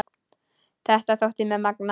Þetta þótti mér magnað.